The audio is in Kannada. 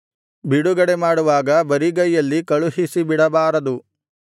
ಬಿಡುಗಡೆ ಮಾಡುವಾಗ ಬರಿಗೈಯಲ್ಲಿ ಕಳುಹಿಸಿಬಿಡಬಾರದು